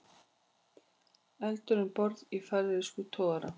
Eldur um borð í færeyskum togara